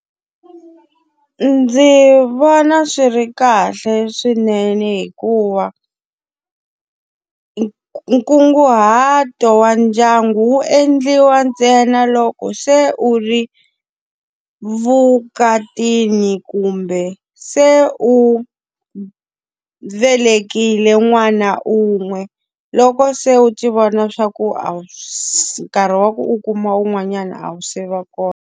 Ndzi vona swi ri kahle swinene hikuva ni nkunguhato wa ndyangu wu endliwa ntsena loko se u ri vukatini kumbe se u velekile n'wana un'we. Loko se u ti vona swa ku a wu nkarhi wa ku u kuma un'wanyana a wu se va kona.